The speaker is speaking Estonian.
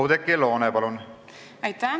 Oudekki Loone, palun!